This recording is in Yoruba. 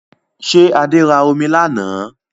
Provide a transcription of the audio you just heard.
Ṣé Adé ra omi lánàá?